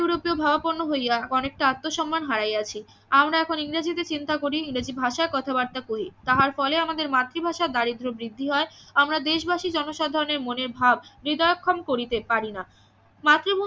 ইউরোপীয় ভাবাপন্ন হইয়া অনেকটা আত্ম সন্মান হারাইয়াছি আমরা এখন ইংরেজিতে চিন্তা করি ইংরেজি ভাষায় কথাবার্তা করি তাহার ফলে আমাদের মাতৃভাষা দারিদ্র বৃদ্ধি হয় আমরা দেশবাসী জনসাধারণের মনে ভাব হৃদয়ক্ষম করিতে পারি না মাতৃভূমি